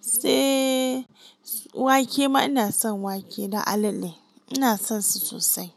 Seee wake ma ina son wake da alale ina son su sosai.